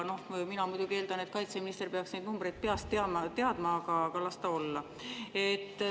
Mina muidugi eeldan, et kaitseminister peaks neid numbreid peast teadma, aga las ta olla.